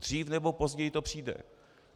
Dřív nebo později to přijde.